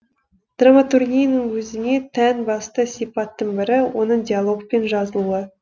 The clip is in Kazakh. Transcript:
драматургияның өзіне тән басты сипатының бірі оның диалогпен жазылуы